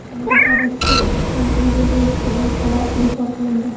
Nomzodlarning ish stajiga ega bo‘lishiga oid talab bekor qilindi.